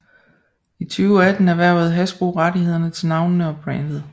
I 2018 erhvervede Hasbro rettighederne til navnene og brandet